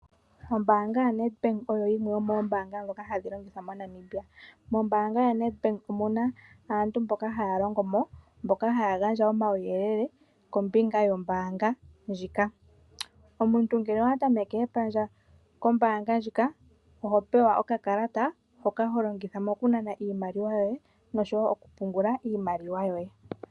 Ombaanga yaNedbank, oyo yimwe yo moombanga dhoka hadhi longithwa moNamibia. Mombaanga yaNedbank omuna aantu mboka haya longomo, mboka haya gandja uuyelele kombinga yombaanga ndjika. Omuntu ngele owa tameke epandja kombaanga ndjika, oho pewa okakalata hoka ho longitha mo kunana iimaliwa yoye, nosho wo mokupungula iimaliwa yoye